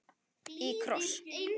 Í kross.